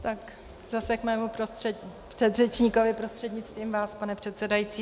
Tak zase k mému předřečníkovi prostřednictvím vás, pane předsedající.